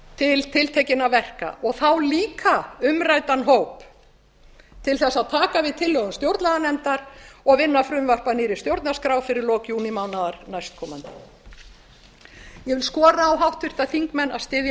til tiltekinna verka og þá líka umræddan hóp til þess að taka við tillögum stjórnlaganefndar og vinna frumvarp að nýrri stjórnarskrá fyrir lok júnímánaðar næstkomandi ég vil skora á háttvirtu þingmenn að styðja